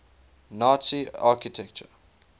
nazi architecture